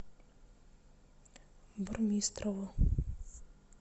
бурмистрову